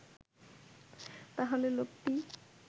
তাহলে লোকটি